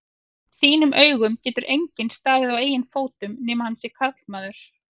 þínum augum getur enginn staðið á eigin fótum nema hann sé karlmaður.